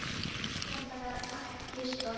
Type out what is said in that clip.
Svaraði ekki enda var ekki þörf á svari.